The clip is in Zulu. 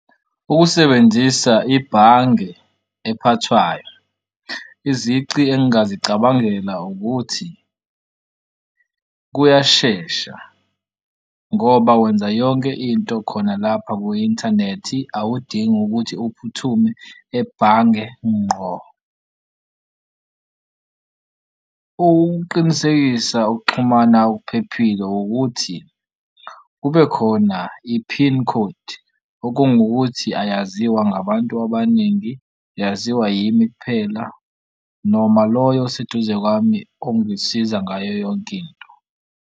Ukusebenzisa ibhange ephathwayo izici engingazicabangela ukuthi kuyashesha ngoba wenza yonke into khona lapha kwi-inthanethi awudingi ukuthi uphuthume ebhange ngqo. Ukuqinisekisa ukuxhumana okuphephile ukuthi kube khona i-pin code okungukuthi ayaziwa ngabantu abaningi, yaziwa yimi kuphela noma loyo oseduze kwami ongangisiza ngayo yonke into.